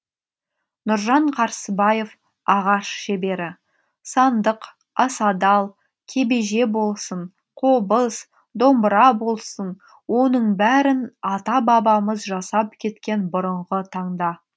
нұржан қарсыбаев ағаш шебері сандық асадал кебеже болсын қобыз домбыра болсын оның бәрін ата бабамыз жасап кеткен бұрынғы таңда